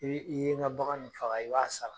N'ii i ye ŋa bagan in faga, i b'a sara.